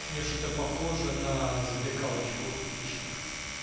чень уж это похоже на завлекалочку и фишинг